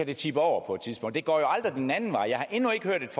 kan tippe over på et tidspunkt det går jo aldrig den anden vej jeg har endnu ikke hørt et